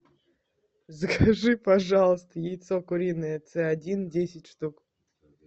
закажи пожалуйста яйцо куриное ц один десять штук